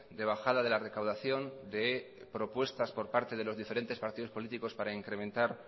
de bajada de la recaudación de propuestas por parte de los diferentes partidos políticos para incrementar